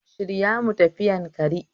Shirya mu tafi Yanakari